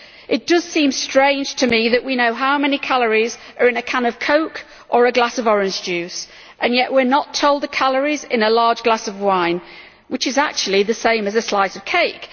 It does seem strange to me that we know how many calories are in a can of coke or a glass of orange juice and yet we are not told the calories in a large glass of wine, which are actually the same as in a slice of cake.